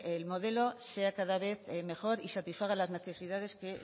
el modelo sea cada vez mejor y satisfaga las necesidades que